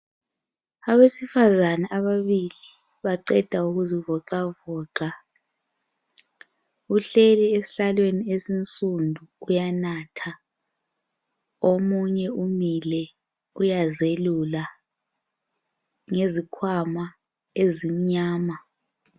Abesifazana ababili baqeda ukuzivocavoca. Uhleli esihlalweni esinsundu uyanatha omunye umile uyazelula ngezkhwama ezimnyama.